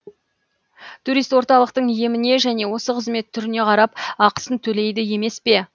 турист орталықтың еміне және осы қызмет түріне қарап ақысын төлейді емес пе